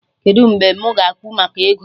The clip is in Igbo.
Kedụ mgbe mụ ga-ekwu maka ego?